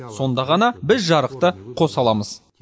сонда ғана біз жарықты қоса аламыз